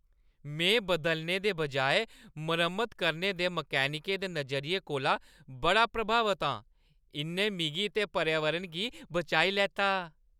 में बदलने दे बजाए मरम्मत करने दे मकैनिकै दे नजरिये कोला बड़ा प्रभावत आं। इʼन्नै मिगी ते पर्यावरण गी बचाई लैता।